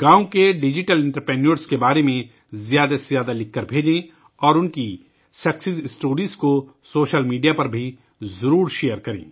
گاؤوں کے digital entrepreneurs کے بارے میں زیادہ سے زیادہ لکھ کر بھیجیں اور ان کی کامیابی کی کہانیوں کو سوشل میڈیا پر بھی ضرور ساجھا کریں